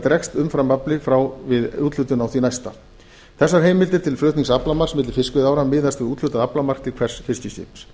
dregst umframafli frá við úthlutun á því næsta þessar heimildir til flutnings aflamarks milli fiskveiðiára miðast við úthlutun aflamarks við hvert fiskiskip